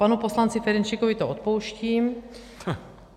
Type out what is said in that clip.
Panu poslanci Ferjenčíkovi to odpouštím.